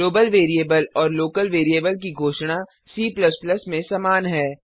global variable और local variable की घोषणा C में समान है